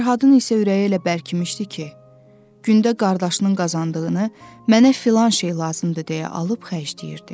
Fərhadın isə ürəyi elə bərkimişdi ki, gündə qardaşının qazandığını mənə filan şey lazımdır deyə alıb xərcləyirdi.